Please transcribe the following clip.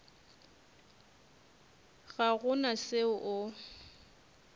ga go na se o